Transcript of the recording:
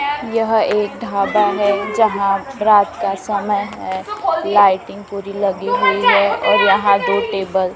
यह एक ढाबा है जहां रात का समय है लाइटिंग पूरी लगी हुई है और यहां दो टेबल --